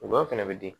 Gɔyɔ fɛnɛ bɛ di